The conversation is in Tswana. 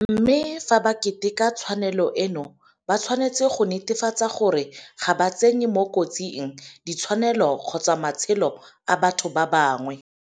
Mme fa ba keteka tshwanelo eno ba tshwanetse go netefatsa gore ga ba tsenye mo kotsing di tshwanelo kgotsa matshelo a batho ba bangwe.